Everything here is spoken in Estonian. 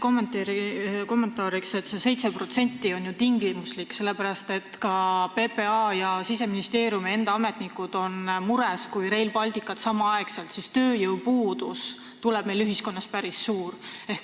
Nii palju kommentaariks, et see 7% on ju tingimuslik, sellepärast et ka PPA ja Siseministeeriumi enda ametnikud on mures, et kui Rail Balticut samal ajal ehitatakse, siis tööjõupuudus tuleb meil ühiskonnas päris suur.